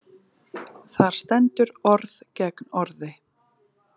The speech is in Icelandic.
Þar stendur orð gegn orði.